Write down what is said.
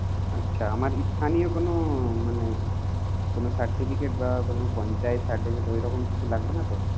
আচ্ছা আমার স্থানীয় কোনো মানে কোনো certificate বা কোনো পঞ্চায়েত certificate ঐরকম কিছু লাগবে না তো?